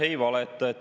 Ei valeta.